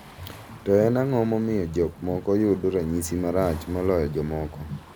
To en ang'o momiyo jok moko yudo ranyisi marach moloyo jomoko?